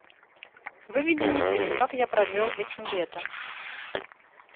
выведи мне фильм как я провел этим летом